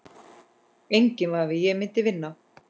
Enginn vafi, ég myndi vinna